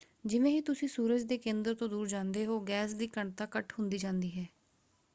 ਜਿਵੇਂ ਹੀ ਤੁਸੀਂ ਸੂਰਜ ਦੇ ਕੇਂਦਰ ਤੋਂ ਦੂਰ ਜਾਂਦੇ ਹੋ ਗੈਸ ਦੀ ਘਣਤਾ ਘੱਟ ਹੁੰਦੀ ਜਾਂਦੀ ਹੈ।